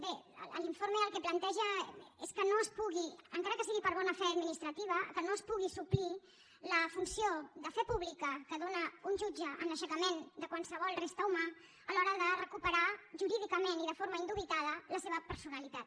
bé l’informe el que planteja és que no es pugui encara que sigui per bona fe administrativa que no es pugui suplir la funció de fe pública que dóna un jutge en l’aixecament de qualsevol resta humana a l’hora de recuperar jurídicament i de forma indubitada la seva personalitat